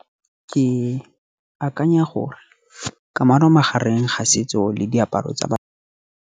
Ke akanya gore kamano magareng ga setso le diaparo tsa .